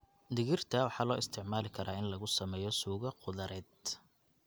Digirta waxaa loo isticmaali karaa in lagu sameeyo suugo khudradeed.